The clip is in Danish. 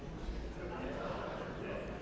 der